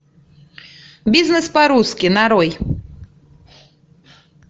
бизнес по русски нарой